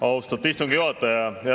Austatud istungi juhataja!